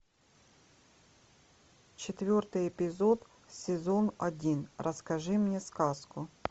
четвертый эпизод сезон один расскажи мне сказку